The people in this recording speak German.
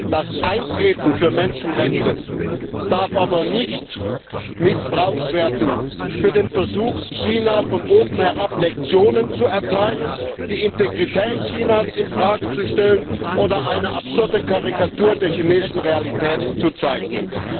Das Eintreten für Menschenrechte darf aber nicht missbraucht werden für den Versuch, China von oben herab Lektionen zu erteilen, die Integrität Chinas in Frage zu stellen oder eine absurde Karikatur der chinesischen Realität zu zeichnen.